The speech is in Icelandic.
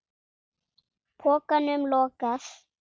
Pokanum lokað.